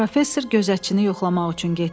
Professor gözətçini yoxlamaq üçün getdi.